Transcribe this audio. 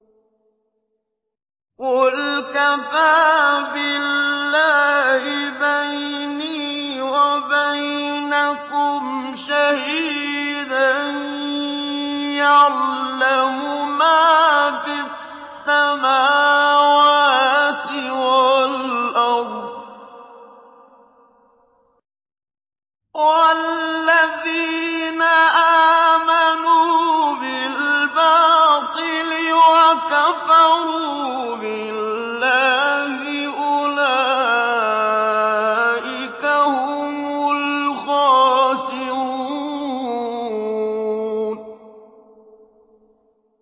قُلْ كَفَىٰ بِاللَّهِ بَيْنِي وَبَيْنَكُمْ شَهِيدًا ۖ يَعْلَمُ مَا فِي السَّمَاوَاتِ وَالْأَرْضِ ۗ وَالَّذِينَ آمَنُوا بِالْبَاطِلِ وَكَفَرُوا بِاللَّهِ أُولَٰئِكَ هُمُ الْخَاسِرُونَ